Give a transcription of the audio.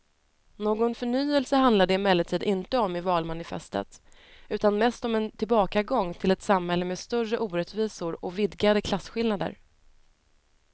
Någon förnyelse handlar det emellertid inte om i valmanifestet utan mest om en tillbakagång till ett samhälle med större orättvisor och vidgade klasskillnader.